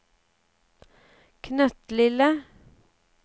knøttlille